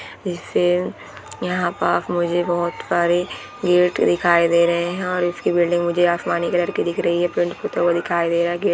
यहाँ पास मुझे बहुत बड़ी गेट दिखाई दे रही है और इसका बिल्डिंग मुझे आसमानी कलर रही है पेंट पोता हुआ दिखाई दे रहा है गेट --